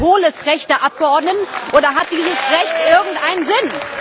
Ist das ein hohles Recht der Abgeordneten, oder hat dieses Recht irgendeinen Sinn?